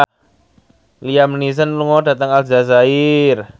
Liam Neeson lunga dhateng Aljazair